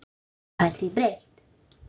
Enginn fær því breytt.